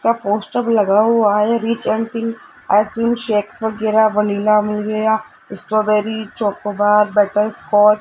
का पोस्टर लगा हुआ है आइसक्रीम शेक्स वगैरा वनीला मिल गया स्ट्रॉबेरी चोकोबार बटरस्कॉच --